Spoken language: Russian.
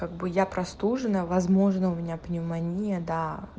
как бы я простужена возможно у меня пневмония да